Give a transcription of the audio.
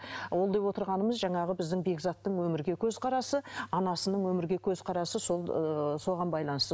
ол деп отырғанымыз жаңағы біздің бекзаттың өмірге көзқарасы анасының өмірге көзқарасы сол ыыы соған байланысты